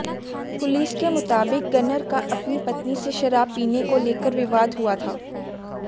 police के मुताबिक gunner का अपनी पत्नी से शराब पीने को लेकर विवाद हुआ था